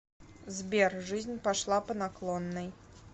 сбер жизнь пошла по наклонной